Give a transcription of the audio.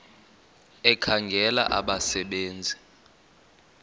ekhangela abasebe nzi